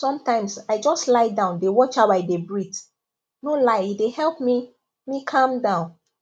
sometimes i just lie down dey watch how i dey breathe no lie e dey help me me calm down